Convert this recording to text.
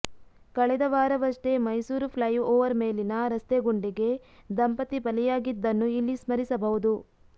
ಕಳೆದ ವಾರವಷ್ಟೇ ಮೈಸೂರು ಫ್ಲೈಓವರ್ ಮೇಲಿನ ರಸ್ತೆ ಗುಂಡಿಗೆ ದಂಪತಿ ಬಲಿಯಾಗಿದ್ದನ್ನು ಇಲ್ಲಿ ಸ್ಮರಿಸಬಹುದು